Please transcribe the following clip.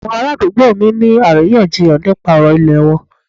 Àwọn ará àdúgbò mí ń ní àríyànjiyàn nípa ọ̀rọ̀ ìlẹ̀ wọn.